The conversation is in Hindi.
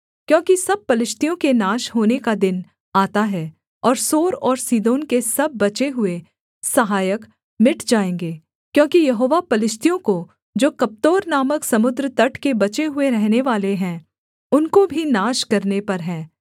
क्योंकि सब पलिश्तियों के नाश होने का दिन आता है और सोर और सीदोन के सब बचे हुए सहायक मिट जाएँगे क्योंकि यहोवा पलिश्तियों को जो कप्तोर नामक समुद्र तट के बचे हुए रहनेवाले हैं उनको भी नाश करने पर है